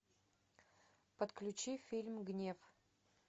подключи фильм гнев